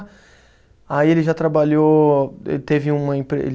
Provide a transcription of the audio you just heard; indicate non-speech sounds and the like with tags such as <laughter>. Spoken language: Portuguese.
Aí ele já trabalhou, te teve uma empre ele <unintelligible>